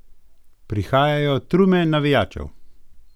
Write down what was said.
Prihajajo trume navijačev!